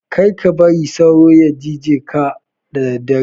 karka bari sauro ya jije ka da daddare